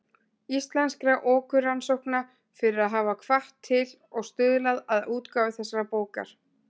Íslenskra orkurannsókna, fyrir að hafa hvatt til og stuðlað að útgáfu þessarar bókar.